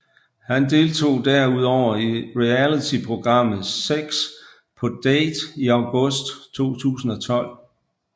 Han deltog derudover i realityprogrammet 6 På Date i august 2012